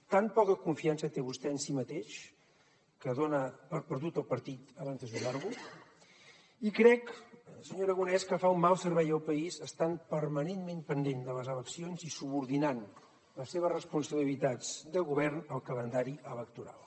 tan poca confiança té vostè en si mateix que dona per perdut el partit abans de jugar lo i crec senyor aragonès que fa un mal servei al país estant permanentment pendent de les eleccions i subordinant les seves responsabilitats de govern al calendari electoral